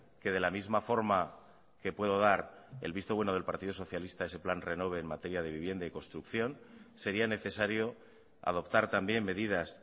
que de la misma forma que puedo dar el visto bueno del partido socialista a ese plan renove en materia de vivienda y construcción sería necesario adoptar también medidas